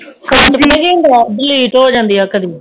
phone ਵਿਚ ਪਤਾ ਕਿ ਹੁੰਦੀਆਂ delete ਹੋ ਜਾਂਦੀਆ ਕਦੀ